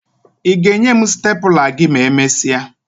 Ị ga-enye m stepụla gị ma emesịa?